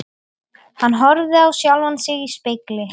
Hann horfði á sjálfan sig í spegli.